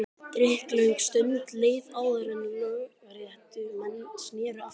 Drykklöng stund leið áður en lögréttumenn sneru aftur.